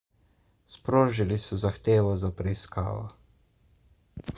sprožili so zahtevo za preiskavo